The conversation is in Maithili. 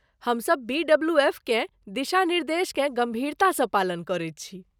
हम सभ बीडब्लूएफकेँ दिशानिर्देशके गम्भीरतासँ पालन करैत छी।